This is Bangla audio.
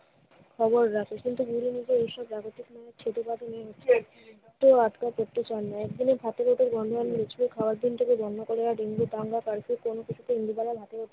খবর রাখে। কিন্তু তো আটকা পড়তে চান না। একদিনে ভাতের হোটেল বন্ধ হয়নি, নিশ্চয়ই খাওয়ার দিনটাকে বন্ধ করার ইন্দুবালার ভাতের